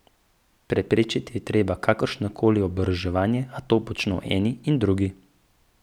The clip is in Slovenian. Preprečiti je treba kakršno koli oboroževanje, a to počno eni in drugi.